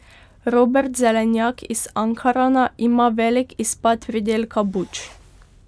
Robert Zelenjak iz Ankarana, ima velik izpad pridelka buč.